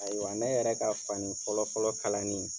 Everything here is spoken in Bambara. Ayiwa ne yɛrɛ ka fani fɔlɔ fɔlɔ kalani.